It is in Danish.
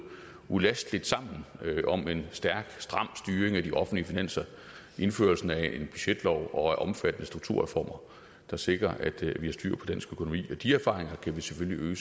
ulasteligt sammen om en stærk stram styring af de offentlige finanser indførelsen af en budgetlov og omfattende strukturreformer der sikrer at vi har styr på dansk økonomi og de erfaringer kan vi selvfølgelig